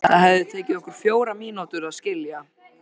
Það hefði tekið okkur fjórar mínútur að skilja.